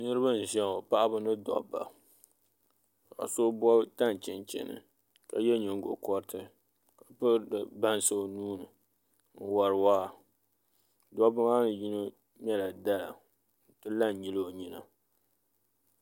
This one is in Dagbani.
Niraba n ʒiya ŋo paɣaba ni dabba ka so bob tani chinchini ka yɛ nyingokoriti ka piri bansi o nuuni n wori waa dabba maa yino ŋmɛrila dala ka la n nyili o nyina